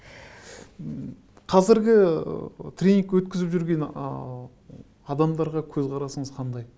қазіргі тренинг өткізіп жүрген ы адамдарға көзқарасыңыз қандай